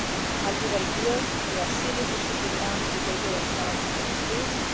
West. I'll be very clear, we have serious issues with Iran's behaviour and stance in those fields.